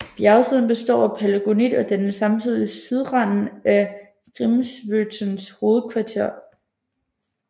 Bjergsiden består af palagonit og danner samtidig sydranden af Grímsvötns hovedkrater